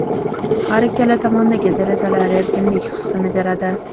Har ikkala tomondagi derazalar erkinlik hissini beradi.